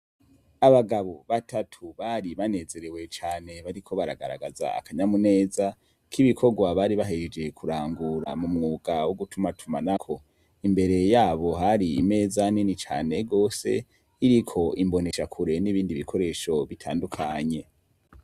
Abagabo batatu bari banezerewe cane, bariko baragaragaz' akanyamuneza kibikogwa bari bahejeje kurangura mu mwuga wugutumatumanako , imbere yabo har' imeza nini cane gose, irik' imbonerakure n' ibindi bikoresho bitandukanye.